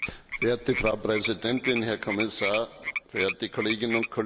Frau Präsidentin, Herr Kommissar, verehrte Kolleginnen und Kollegen!